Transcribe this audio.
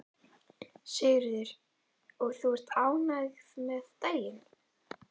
Sigríður: Og ert þú ánægð með daginn?